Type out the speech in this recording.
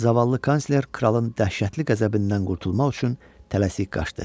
Zavallı kansler kralın dəhşətli qəzəbindən qurtulmaq üçün tələsik qaçdı.